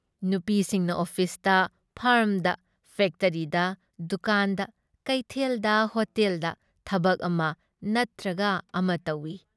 ꯅꯨꯄꯤꯁꯤꯡꯅ ꯑꯣꯐꯤꯁꯇ, ꯐꯥꯔꯝꯗ, ꯐꯦꯛꯇꯔꯤꯗ ꯗꯨꯀꯥꯟꯗ, ꯀꯩꯊꯦꯜꯗ, ꯍꯣꯇꯦꯜꯗ ꯊꯕꯛ ꯑꯃ ꯅꯇ꯭ꯔꯒ ꯑꯃ ꯇꯧꯏ ꯫